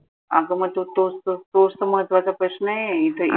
आग मग तोचत तोचत महत्वाचा प्रश्न ए इथं